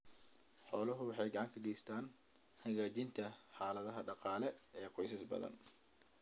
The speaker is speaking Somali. Xooluhu waxay gacan ka geystaan ??hagaajinta xaaladaha dhaqaale ee qoysas badan.